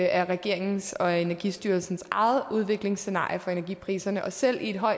er regeringens og energistyrelsens eget udviklingsscenarie for energipriserne og selv i